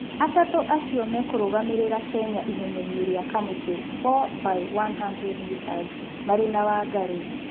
atatũ acĩo makũrũgamĩrĩra Kenya ihenya-inĩ rĩa kamũtĩ 4*100m marĩ na Wangari